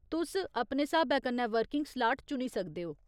तुस अपने स्हाबै कन्नै वर्किंग स्लाट चुनी सकदे ओ।